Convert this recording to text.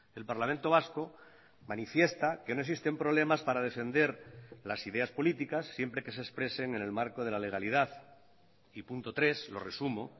el parlamento vasco manifiesta que no existen problemas para defender las ideas políticas siempre que se expresen en el marco de la legalidad y punto tres lo resumo